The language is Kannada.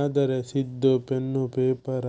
ಆದರೆ ಸಿದ್ದು ಪೆನ್ನು ಪೇಪರ